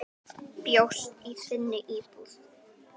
Bjóst í þinni íbúð.